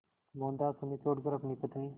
मोहनदास उन्हें छोड़कर अपनी पत्नी